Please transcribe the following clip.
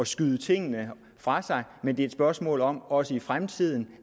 skyde tingene fra sig men det er et spørgsmål om også i fremtiden